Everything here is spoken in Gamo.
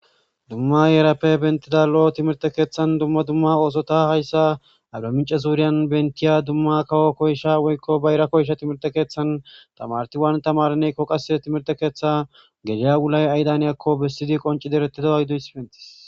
Dumma heerappe beeththida lo7o thimirththe keethtan dumma dumma oosotha hayssa arbbamincce zuuriyan beeththiya dumma kawo koysha bayra koysha thimirththe keeththan thamaarethi waani thamaareneekko qassi thimirththe keeththaa geliya wulay aydan haniyaakko bessidi qonccidi ereththidawa.